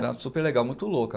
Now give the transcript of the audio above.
Era super legal, muito louca.